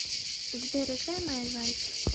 сбер играй май лайф